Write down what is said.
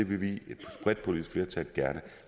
vil vi et bredt politisk flertal gerne